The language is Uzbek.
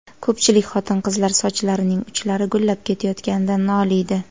Ko‘pchilik xotin-qizlar sochlarining uchlari gullab ketayotganidan noliydi.